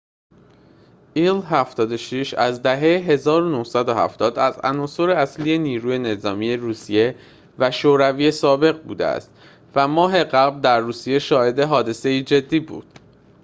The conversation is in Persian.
ایل-۷۶ از دهه ۱۹۷۰ از عناصر اصلی نیروی نظامی روسیه و شوروی سابق بوده است و ماه قبل در روسیه شاهد حادثه‌ای جدی بود